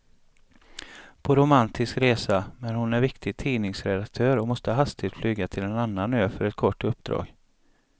På romantisk resa, men hon är viktig tidningsredaktör och måste hastigt flyga till en annan ö för ett kort uppdrag.